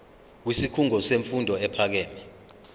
kwisikhungo semfundo ephakeme